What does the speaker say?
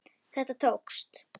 Þetta tókst.